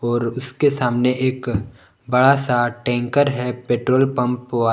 और उसके सामने एक बड़ा सा टैंकर है पेट्रोल पम्प वा--